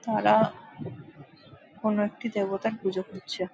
তারা কোন একটি দেবতার পুজো করছে।